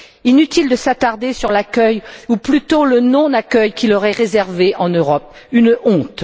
Inutile de s'attarder sur l'accueil ou plutôt le non accueil qui leur est réservé en Europe une honte!